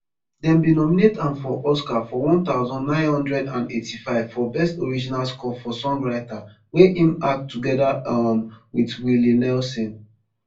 dem bin nominate am for oscar for one thousand, nine hundred and eighty-five for best original score for songwriter wey im act togeda um wit willie nelson